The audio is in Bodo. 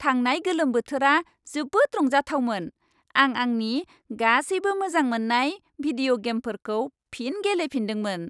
थांनाय गोलोम बोथोरा जोबोद रंजाथावमोन। आं आंनि गासैबो मोजां मोननाय भिदिय' गेमफोरखौ फिन गेलेफिनदोंमोन।